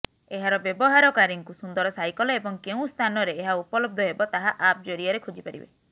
ଏହାର ବ୍ୟବହାରକାରୀଙ୍କୁ ସୁନ୍ଦର ସାଇକେଲ୍ ଏବଂ କେଉଁ ସ୍ଥାନରେ ଏହା ଉପଲବ୍ଧ ହେବ ତାହା ଆପ୍ ଜରିଆରେ ଖୋଜିପାରିବେ